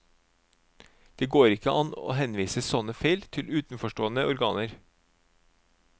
Det går ikke an å henvise sånne feil til utenforstående organer.